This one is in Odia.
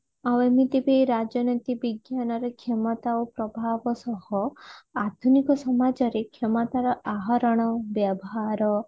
ଆଉ ଏମିତି ବି ରାଜନୀତି ବିଜ୍ଞାନରେ କ୍ଷମତା ଓ ପ୍ରଭାବ ସହ ଆଧୁନିକ ସମାଜ ରେ କ୍ଷମତା ର ଆହରଣ ବ୍ୟବହାର